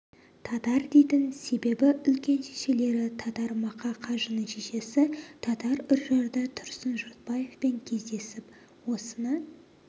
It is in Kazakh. татар дейтін себебі үлкен шешелері татар мақа қажының шешесі татар үржарда тұрсын жұртбаевпен кездесіп осыны